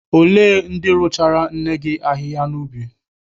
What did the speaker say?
Olee ndị rụchaara nne gị ahịhịa n'ubi?